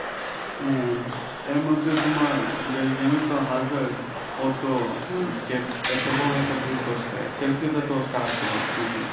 হ্যাঁ এর মধ্যে তোমার বেলজিয়ামে তো ওতো এত বড় একটা ভুল করছে নাকি